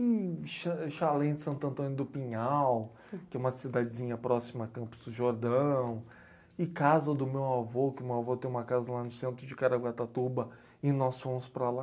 E chá chalé em Santo Antônio do Pinhal, que é uma cidadezinha próxima a Campos do Jordão, e casa do meu avô, que meu avô tem uma casa lá no centro de Caraguatatuba, e nós fomos para lá.